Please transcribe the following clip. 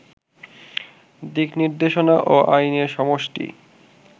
দিকনির্দেশনা ও আইনের সমষ্টি